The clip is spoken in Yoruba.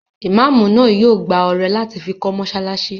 Imáamù náà yóò gbá ọrẹ láti fi kọ́ mọ́sálásí